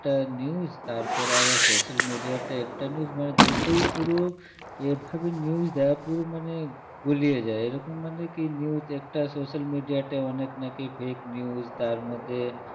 একটা news তারপরে আবার social media তে একটা news মানে দুটোই পুরো এভাবে news দেয় পুরো মানে গুলিয়ে যায় এরকম মানে কী news একটা social media তে অনেক নাকি fake news তার মধ্যে